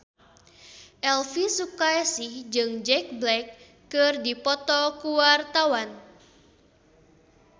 Elvi Sukaesih jeung Jack Black keur dipoto ku wartawan